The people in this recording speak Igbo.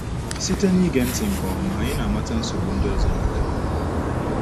Site n’ige ntị nke ọma, anyị na - amata nsogbu ndị ọzọ na-agabiga.